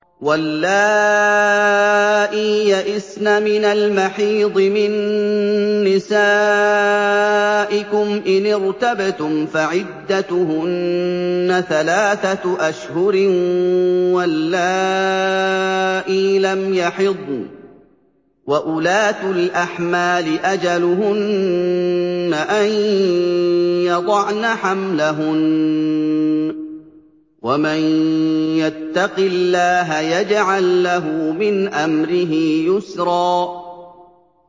وَاللَّائِي يَئِسْنَ مِنَ الْمَحِيضِ مِن نِّسَائِكُمْ إِنِ ارْتَبْتُمْ فَعِدَّتُهُنَّ ثَلَاثَةُ أَشْهُرٍ وَاللَّائِي لَمْ يَحِضْنَ ۚ وَأُولَاتُ الْأَحْمَالِ أَجَلُهُنَّ أَن يَضَعْنَ حَمْلَهُنَّ ۚ وَمَن يَتَّقِ اللَّهَ يَجْعَل لَّهُ مِنْ أَمْرِهِ يُسْرًا